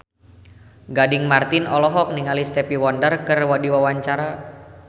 Gading Marten olohok ningali Stevie Wonder keur diwawancara